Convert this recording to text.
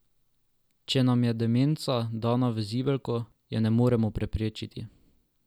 Če nam je demenca dana v zibelko, je ne moremo preprečiti.